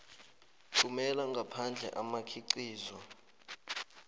thumela ngaphandle imikhiqizo